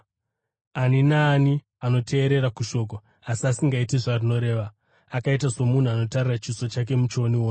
Ani naani anoteerera kushoko asi asingaiti zvarinoreva akaita somunhu anotarira chiso chake muchionioni